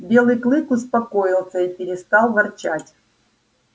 белый клык успокоился и перестал ворчать